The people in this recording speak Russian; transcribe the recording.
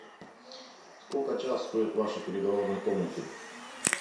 сколько час стоит в вашей переговорной комнате